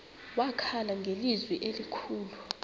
wakhala ngelizwi elikhulu